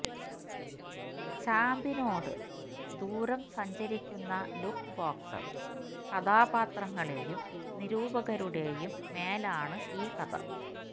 ചാമ്പിനോട് ദൂരം സഞ്ചരിക്കുന്ന ലുക്ക് ബോക്സർ കഥാപാത്രങ്ങളേയും നിരൂപകരുടേയും മേലാണ് ഈ കഥ